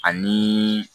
Ani